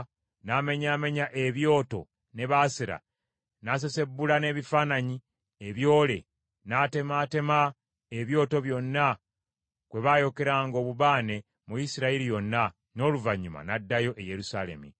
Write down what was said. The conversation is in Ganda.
n’amenyaamenya ebyoto ne Baasera, n’asesebbula n’ebifaananyi ebyole, n’atemaatema ebyoto byonna kwe baayokeranga obubaane mu Isirayiri yonna, n’oluvannyuma n’addayo e Yerusaalemi.